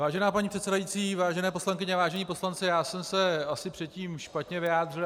Vážená paní předsedající, vážené poslankyně, vážení poslanci, já jsem se asi předtím špatně vyjádřil.